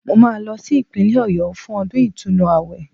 Mo máa lọ sí Ìpínlẹ̀ Ọ̀yọ́ fún ọdún ìtúnu àwẹ̀